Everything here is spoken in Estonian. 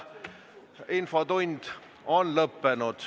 Infotund on lõppenud.